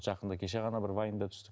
жақында кеше ғана бір вайнда түстік